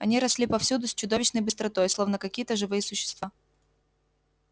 они росли повсюду с чудовищной быстротой словно какие то живые существа